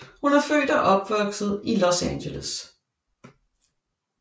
Hun er født og opvokset i Los Angeles